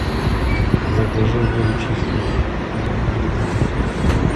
закажи воду чистую литр